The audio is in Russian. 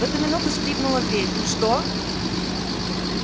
в эту минуту скрыпнула дверь что